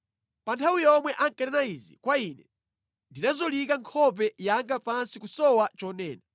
Pa nthawi yomwe ankanena izi kwa ine, ndinazolika nkhope yanga pansi kusowa chonena.